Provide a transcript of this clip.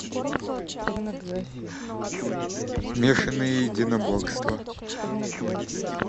смешанные единоборства